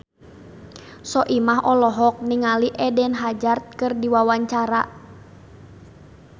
Soimah olohok ningali Eden Hazard keur diwawancara